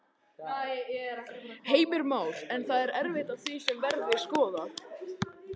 Heimir Már: En það er eitt af því sem verður skoðað?